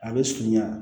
A bɛ surunya